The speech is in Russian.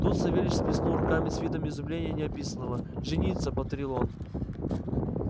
тут савельич сплеснул руками с видом изумления неописанного жениться повторил он